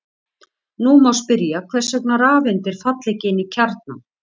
Nú má spyrja hvers vegna rafeindir falla ekki inn í kjarnann.